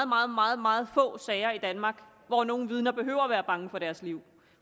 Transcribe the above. meget meget meget få sager i danmark hvor nogle vidner behøver at være bange for deres liv